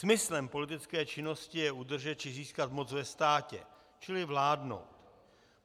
Smyslem politické činnosti je udržet či získat moc ve státě, čili vládnout.